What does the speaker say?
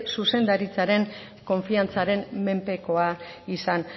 zuzendaritzaren konfiantzaren menpekoa izan